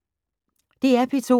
DR P2